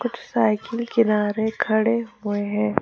Cycle किनारे खड़े हुए हैं।